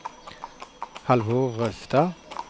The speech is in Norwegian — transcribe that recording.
Halvor Røstad